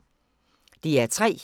DR P3